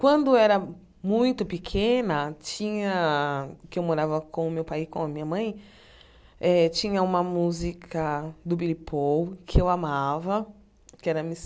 Quando eu era muito pequena, tinha que eu morava com o meu pai e com a minha mãe, eh tinha uma música do Billy Paul que eu amava, que era Mrs.